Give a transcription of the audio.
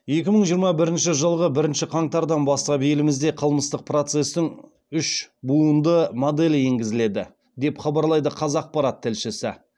екі мың жиырма бірінші жылғы бірінші қаңтардан бастап елімізде қылмыстық процестің үш буынды моделі енгізіледі деп хабарлайды қазақпарат тілшісі